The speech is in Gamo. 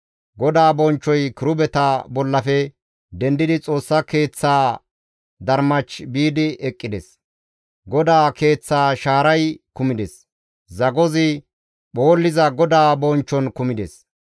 GODAA bonchchoy kirubeta bollafe dendidi Xoossa Keeththaa darmach biidi eqqides. GODAA keeththaa shaaray kumides; zagozi phoolliza GODAA bonchchon kumides.